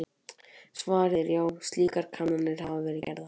Svarið er já, slíkar kannanir hafa verið gerðar.